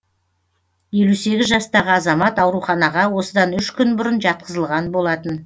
елу сегіз жастағы азамат ауруханаға осыдан үш күн бұрын жатқызылған болатын